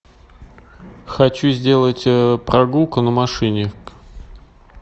хочу сделать прогулку на машине